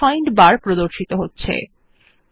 find bar এর text বক্সে লিখুন জিমেইল